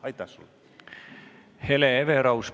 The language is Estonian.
Hele Everaus, palun!